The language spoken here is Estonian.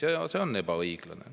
Ja see on ebaõiglane.